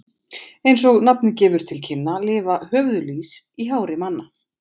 Eins og nafnið gefur til kynna lifa höfuðlýs í hári manna.